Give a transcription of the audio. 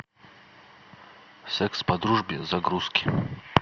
секс по дружбе загрузки